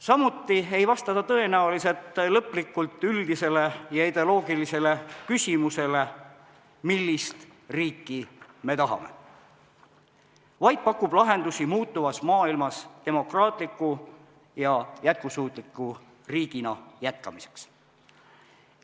Samuti ei vasta ta tõenäoliselt lõplikult üldisele ja ideoloogilisele küsimusele "Millist riiki me tahame?", vaid pakub lahendusi muutuvas maailmas demokraatliku ja jätkusuutliku riigina jätkamiseks.